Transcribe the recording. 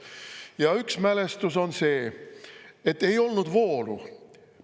Ja üks mälestus on see, et ei olnud voolu.